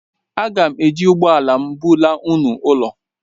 Aga m eji ụgbọ ala m bulaa unu ụlọ